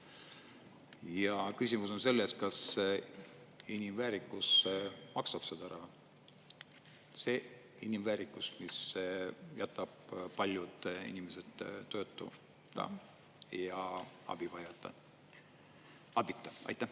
Ja küsimus on selles, kas inimväärikus maksab seda raha, see inimväärikus, mis jätab paljud inimesed tööta ja abita.